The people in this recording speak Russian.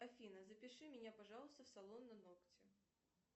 афина запиши меня пожалуйста в салон на ногти